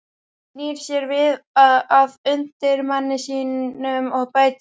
Snýr sér síðan að undirmanni sínum og bætir við